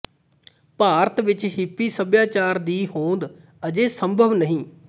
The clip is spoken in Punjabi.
ਭਾਰਤ ਵਿਚ ਹਿੱਪੀ ਸਭਿਆਚਾਰ ਦੀ ਹੋਂਦ ਅਜੇ ਸੰਭਵ ਨਹੀਂ